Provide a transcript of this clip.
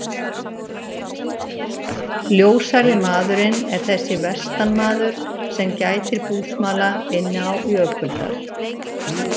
Ljóshærði maðurinn er þessi vestanmaður, sem gætir búsmala inni á Jökuldal.